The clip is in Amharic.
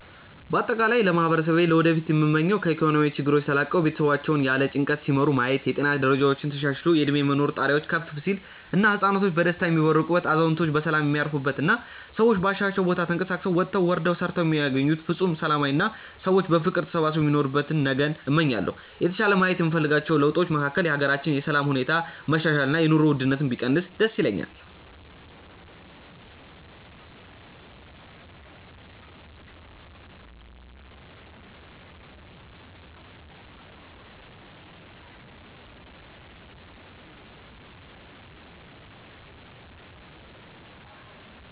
በአጠቃላይ ለማህበረሰቤ ለወደፊቱ ምመኘው ከኢኮኖሚያዊ ችግሮች ተላቀው ቤተሰቦቻቸውን ያለ ጭንቀት ሲመሩ ማየት፣ የጤና ደረጃችን ተሻሽሎ የእድሜ የመኖር ጣሪያችን ከፍ ሲል እና ህፃናቶች በደስታ የሚቦርቁበት፣ አዛውንቶች በሰላም የሚያርፉበት እና ሰዎች ባሻቸው ቦታ ተንቀሳቅሰው ወጥተው ወርደው ሰርተው የሚያገኙበት ፍፁም ሰላማዊ አና ሰዎች በፍቅር ተሳስበው የሚኖሩበትን ነገን እመኛለሁ። የተሻለ ማየት የምፈልጋቸው ለውጦች መካከል የሀገራችንን የሰላም ሁኔታ መሻሻል እና የኑሮ ውድነቱ ቢቀንስ ደስ ይለኛል።